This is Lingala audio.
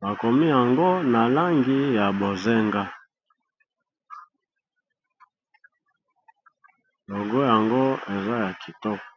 ba komi yango na langi ya bozenga logo yango eza ya kitoko.